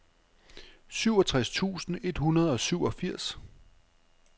syvogtres tusind et hundrede og syvogfirs